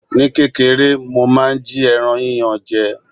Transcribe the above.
Ní kékeré, mo máa ń jí ẹran yíyan je.